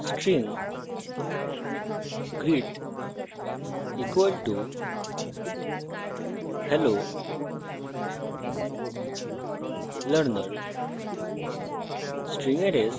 string greet = hello learner